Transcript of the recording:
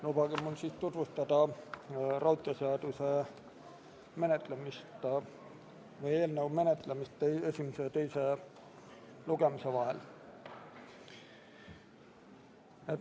Lubage mul tutvustada raudteeseaduse eelnõu menetlemist esimese ja teise lugemise vahel.